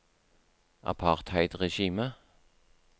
apartheidregimet